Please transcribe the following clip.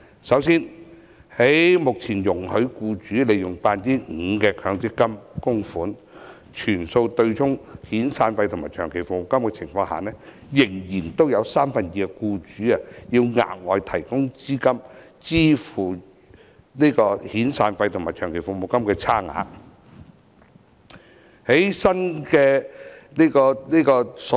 首先，在目前容許僱主利用 5% 的強積金供款全數對沖遣散費和長期服務金的情況下，仍然有三分之二的僱主需要額外提供資金支付遣散費和長期服務金的差額。